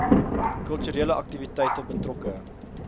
kulturele aktiwiteite betrokke